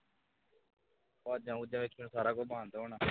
ਵਾਜ਼ਾਂ ਵੂਜ਼ਾਂ ਫੇਰ ਸਾਰਾ ਕੁਝ ਬੰਦ ਹੋ ਜਾਣਾ